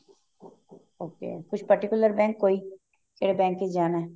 okay ਕੋਈ particular bank ਕੋਈ ਜਿਹਦੇ ਵਿੱਚ ਜਾਣਾ ਹੈ